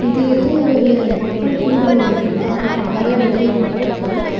இது எதோ ஒரு மக்கள் கூடுற ஒரு இடம் ரொம்ப அழகா டெக்கரேட் பண்ணி இருக்காங்க.